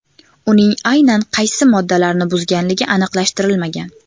Uning aynan qaysi moddalarni buzganligi aniqlashtirilmagan.